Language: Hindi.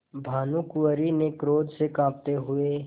भानुकुँवरि ने क्रोध से कॉँपते हुए